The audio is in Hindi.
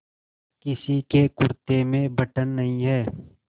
किसी के कुरते में बटन नहीं है